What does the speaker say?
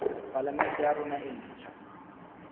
palamente ya rona e ntjha